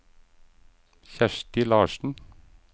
Kjersti Larssen